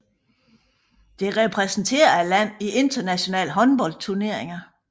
Det repræsenterer landet i internationale håndboldturneringer